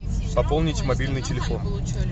пополнить мобильный телефон